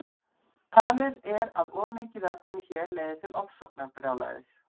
Talið er að of mikið af efninu hér leiði til ofsóknarbrjálæðis.